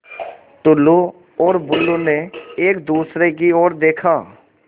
टुल्लु और बुल्लु ने एक दूसरे की ओर देखा